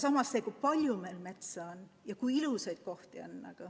Ja kui palju meil ikkagi metsa ja ilusaid kohti on!